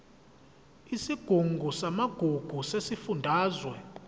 isigungu samagugu sesifundazwe